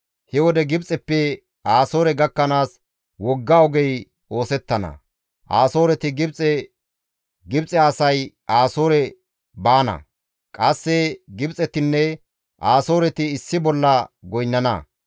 He wode Gibxeppe Asoore gakkanaas wogga ogey oosettana; Asooreti Gibxe, Gibxe asay Asoore baana; qasse Gibxetinne Asooreti issi bolla goynnana.